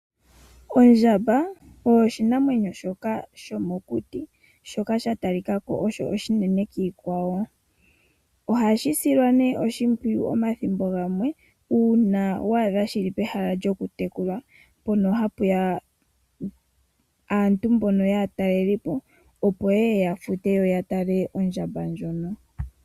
Ondjamba oyo oshinamwenyo shoka shomokuti shoka shili shatalikako osho oshinene kiikwawo. Ohayi silwa nee oshimpwiyu omathimbo gamwe uuna tashi tekulwa kaantu. Ondjamba oyo yimwe yomiinamwenyo mbyoka hayi hili aataleliipo moshilongo.